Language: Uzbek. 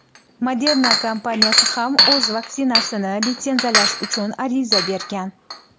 Moderna kompaniyasi ham o‘z vaksinasini litsenziyalash uchun ariza bergan.